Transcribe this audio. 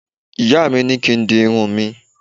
Ìyá mi ní kín di irun mi